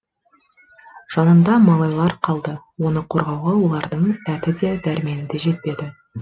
жанында малайлары қалды оны қорғауға олардың дәті де дәрмені де жетпеді